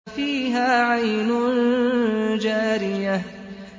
فِيهَا عَيْنٌ جَارِيَةٌ